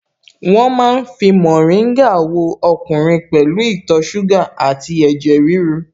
Wọ́n ma ń fi mórìngà wo ọkùnrin pẹ̀lú ìtọ̀ ṣúgà àti ẹ̀jẹ̀ ríru